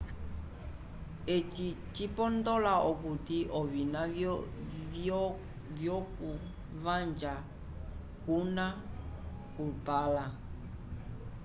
eci cipondola okuti ovina vyoku vaja cuna cupanla